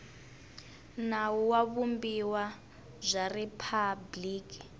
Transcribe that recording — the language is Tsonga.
nawu wa vumbiwa bya riphabliki